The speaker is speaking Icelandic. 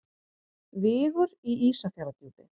Vigur í Ísafjarðardjúpi.